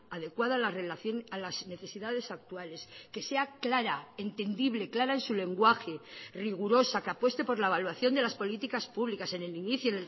adecuada a las necesidades actuales que sea clara entendible clara en su lenguaje rigurosa que apueste por la evaluación de las políticas públicas en el inicio